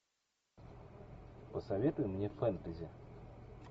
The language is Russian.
посоветуй мне фэнтези